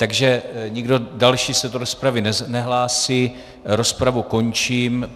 Takže nikdo další se do rozpravy nehlásí, rozpravu končím.